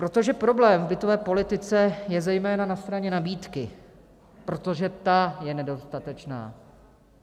Protože problém v bytové politice je zejména na straně nabídky, protože ta je nedostatečná.